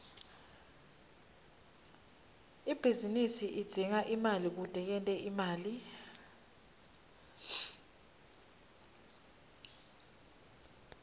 ibhizinisi idzinga imali kute yente imali